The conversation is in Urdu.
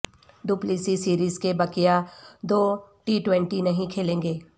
ڈوپلیسی سیریز کے بقیہ دو ٹی ٹونٹی نہیں کھیلیں گے